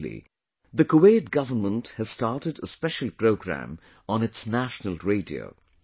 Actually, the Kuwait government has started a special program on its National Radio